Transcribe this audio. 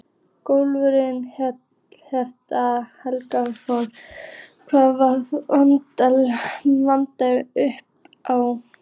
Guðjón Helgason: Hvað vantar mikið upp á?